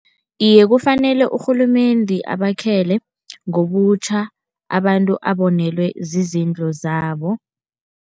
Iye kufanele urhulumende abakhele, ngobutjha abantu abonelwe zizinto zabo.